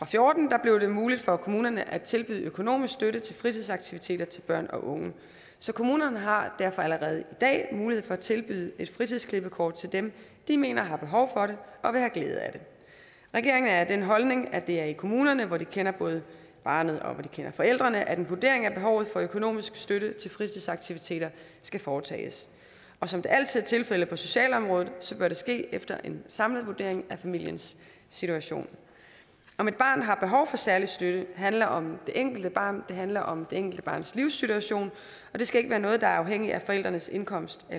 fjorten blev det muligt for kommunerne at tilbyde økonomisk støtte til fritidsaktiviteter til børn og unge så kommunerne har derfor allerede i dag mulighed for at tilbyde fritidsklippekort til dem de mener har behov for det og vil have glæde af det regeringen er af den holdning at det er i kommunerne hvor de kender både barnet og forældrene at en vurdering af behovet for økonomisk støtte til fritidsaktiviteter skal foretages og som det altid er tilfældet på socialområdet bør det ske efter en samlet vurdering af familiens situation om et barn har behov for særlig støtte handler om det enkelte barn det handler om det enkelte barns livssituation og det skal ikke være noget der alene er afhængigt af forældrenes indkomst